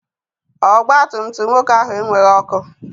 Ọgbatumtum nwoke ahụ enweghị ọkụ.